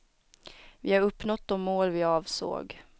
Vi har uppnått de mål vi avsåg.